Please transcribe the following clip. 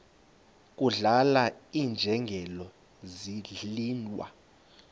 kudlala iinjengele zidliwa